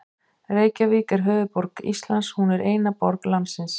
Reykjavík er höfuðborg Íslands. Hún er eina borg landsins.